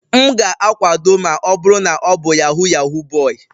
M ga-akwado ma ọ bụrụ na ọ bụ Yahoo yahoo boy.